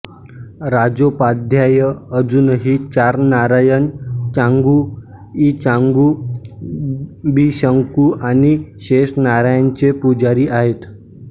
राजोपाध्याय अजूनही चार नारायण चांगू इचांगू बिशंखू आणि शेष नारायणांचे पुजारी आहेत